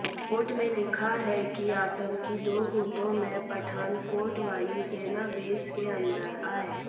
report में लिखा है कि आतंकी दो गुटों में पठानकोट वायुसेना बेस के अंदर आए